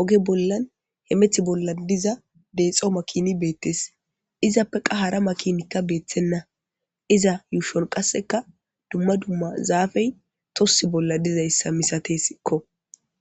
oge bollani hemeta bolla diza dexxo making betees.izappe qaa hara makin betenna izza ushshonni qasekka dumma dumma zafeyi tossi bolla dizayissa misatessikko .